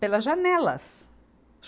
pelas janelas.